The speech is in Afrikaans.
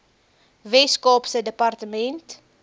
wes kaapse departement